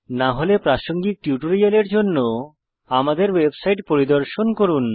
না হলে প্রাসঙ্গিক টিউটোরিয়ালের জন্য আমাদের ওয়েবসাইট পরিদর্শন করুন